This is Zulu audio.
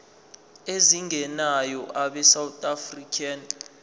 ezingenayo abesouth african